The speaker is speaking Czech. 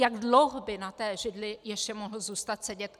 Jak dlouho by na té židli ještě mohl zůstat sedět?